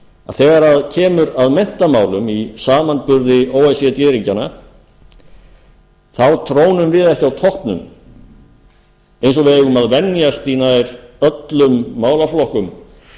að þegar kemur að menntamálum í samanburði o e c d ríkjanna þá trónum við ekki á toppnum eins og við eigum að venjast í nær öllum málaflokkum